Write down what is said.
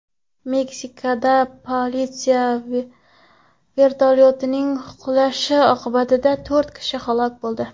Meksikada politsiya vertolyotining qulashi oqibatida to‘rt kishi halok bo‘ldi.